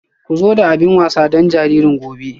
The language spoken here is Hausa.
Ku zo da abin wasa don jariri gobe.